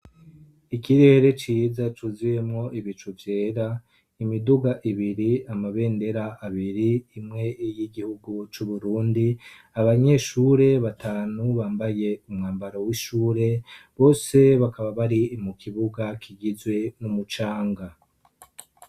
Ikirere ciza cuzuyemwo ibicu vyera; imiduga ibiri, amabendera abiri, imwe ni y' igihugu c'Uburundi. Abanyenshure batanu bambaye umwambaro w'ishure. Bose bakaba bari mu kibuga kigizwe n'umucanga.